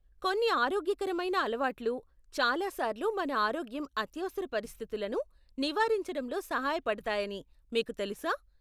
కొన్ని ఆరోగ్యకరమైన అలవాట్లు చాలా సార్లు మన ఆరోగ్యం అత్యవసర పరిస్థితులను నివారించడంలో సహాయపడతాయని మీకు తెలుసా?